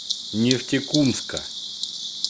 нефтекумска